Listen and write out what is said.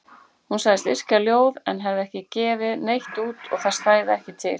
Hún sagðist yrkja ljóð en hefði ekki gefið neitt út og það stæði ekki til.